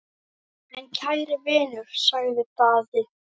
En kæri vinur, sagði Daði.